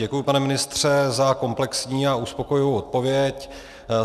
Děkuji, pane ministře, za komplexní a uspokojivou odpověď.